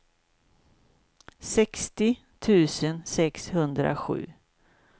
sextio tusen sexhundrasju